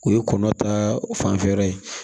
O ye kɔnɔ ta fanfɛ yɔrɔ ye